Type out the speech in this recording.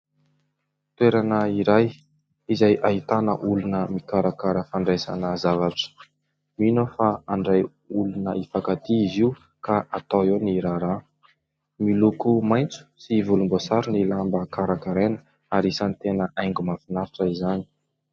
Toerana iray izay ahitana olona mikarakara fandraisana zavatra, mino aho fa handray olona hifankatia izy io ka atao eo ny raharaha, miloko maitso sy volomboasary ny lamba karakaraina ary isany tena haingo mahafinaritra izany.